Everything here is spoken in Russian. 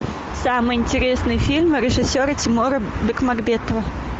самый интересный фильм режиссера тимура бекмамбетова